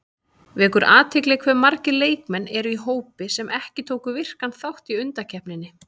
Vekur athygli hve margir leikmenn eru í hópnum sem ekki tóku virkan þátt í undankeppninni.